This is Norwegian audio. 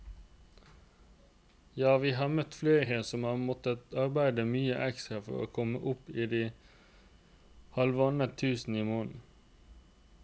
Ja, vi har møtt flere som har måttet arbeide mye ekstra for å komme opp i de halvannet tusen i måneden.